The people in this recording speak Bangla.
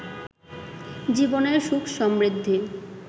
জীবনের সুখ সমৃদ্ধি